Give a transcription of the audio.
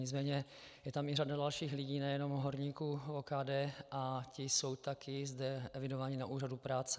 Nicméně je tam i řada dalších lidí, nejenom horníků OKD, a ti jsou také zde evidováni na úřadu práce.